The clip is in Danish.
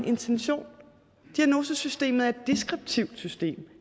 intention diagnosesystemet er et deskriptivt system